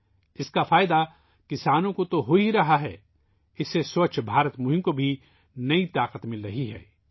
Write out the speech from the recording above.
کسانوں کو اس کا فائدہ مل رہا ہے ، یہ سووچھ بھارت ابھیان کو نئی طاقت بھی دے رہا ہے